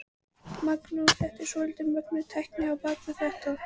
Magnús: Þetta er svolítið mögnuð tækni á bak við þetta?